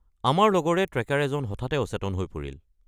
আমাৰ লগৰে ট্ৰেকাৰ এজন হঠাতে অচেতন হৈ পৰিল।